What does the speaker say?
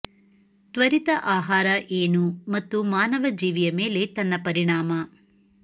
ತ್ವರಿತ ಆಹಾರ ಏನು ಮತ್ತು ಮಾನವ ಜೀವಿಯ ಮೇಲೆ ತನ್ನ ಪರಿಣಾಮ